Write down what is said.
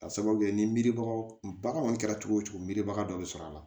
Ka sababu kɛ ni miribagaw bagan kɔni kɛra cogo o cogo miribaga dɔ bɛ sɔrɔ a la